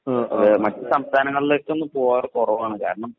അത് മറ്റു സംസ്ഥാനങ്ങളിലേക്കൊന്നും പോവാറ് കുറവാണ് കാരണം